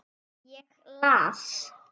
Ég las.